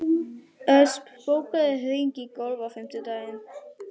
Ösp, bókaðu hring í golf á fimmtudaginn.